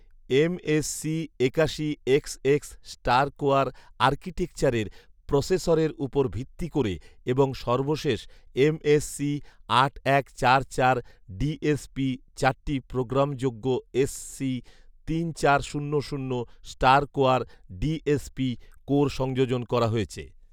MSc একাশি XX StarCore আর্কিটেকচারের প্রসেসরের উপর ভিত্তি করে এবং সর্বশেষ এম এস সি আট এক চার চার ডিএসপি চারটি প্রোগ্রামযোগ্য এসসি তিন চার শূন্য শূন্য স্টারকোয়ার ডিএসপি কোর সংযোজন করা হয়েছে